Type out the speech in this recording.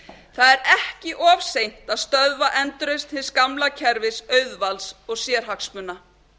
það er ekki of seint að stöðva endurreisn hins gamla kerfis auðvalds og sérhagsmuna